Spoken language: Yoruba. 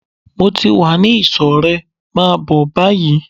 Mo ti wá ní ìsò rẹ, máa bó báyìí!